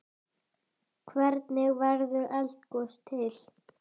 Hvernig verður eldgos til?